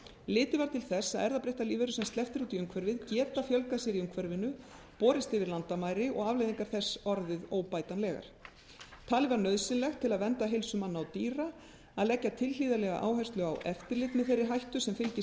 litið var til þess að erfðabreyttar lífverur sem sleppt er út í umhverfið geta fjölgað sér í umhverfinu borist yfir landamæri og afleiðingar þess orðið óbætanlegar talið var nauðsynlegt til að vernda heilsu manna og dýra að leggja tilhlýðilega áherslu á eftirlit með þeirri hættu sem fylgir